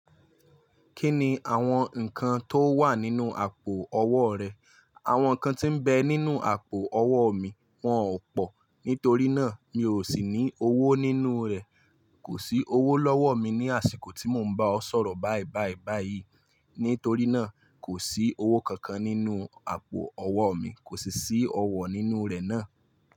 Kí ni àwọn nǹkan tó wà nínú àpò ọwọ́ rẹ? Àwọn nǹkan tí ń bẹ nínú àpò ọwọ́ mi wọ́n ò pọ̀, nítorí náà mi ò sì ní owó nínú rẹ̀. Kò sí owó lọ́wọ́ mi ní àsìkò tí mò ń bá ọ sọ̀rọ̀ báìbáì báyìí. Nítorí náà, kò sí owó kankan nínú àpò ọwọ́ mi, kò sì sí ọwọ́ nínú rẹ̀ náà.